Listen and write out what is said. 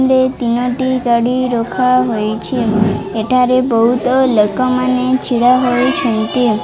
ଲେ ତିନୋଟି ଗାଡି ରଖା ହୋଇଛି ଏଠାରେ ବହୁତ ଲୋକମାନେ ଛିଡ଼ା ହୋଇଛନ୍ତି।